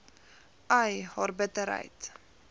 ai haar bitterheid